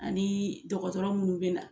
Ani dɔgɔtɔrɔ munnu bɛ na.